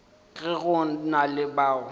ge go na le bao